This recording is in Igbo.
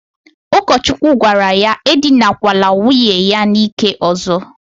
Ukochukwu gwara ya edinakwala nwunye ya n'ike ozo.